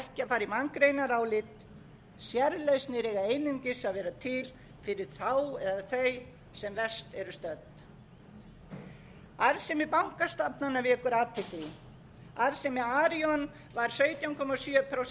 í manngreinarálit sérlausnir eiga einungis að vera til fyrir þá eða þau sem verst eru stödd arðsemi bankastofnana vekur athygli arðsemi arion var sautján komma sjö prósent á fyrra